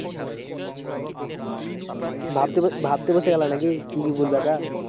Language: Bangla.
ভাবতে ভাবতে বসে গেলা নাকি কি কি বলবা তা